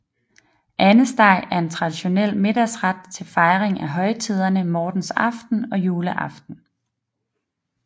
Andesteg er en traditionel middagsret til fejring af højtiderne mortensaften og juleaften